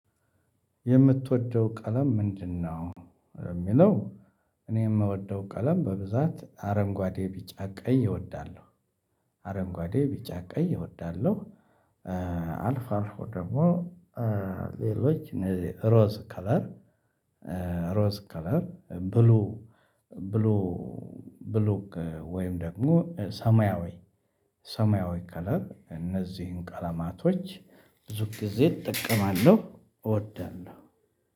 የምትወደው ቀለም ምንድነው የሚለው? እኔ የምወደው ቀለም በብዛት አረንጓዴ ቢጫ ቀደኝ እወዳለሁ አረንጓዴ ቢጫ ቀይ እወዳለሁ። እ አልፋር ደግሞ ሌሎች ሮዝ ከለር። ሮዝ ከለር ብሉ ብሉ ብሉ ከ ወይም ደግሞ ሰማያዊ ሰማያዊ ከለር እነዚህን ቀለማቶች ብዙ ጊዜ እጠቀማለሁ እወዳለሁ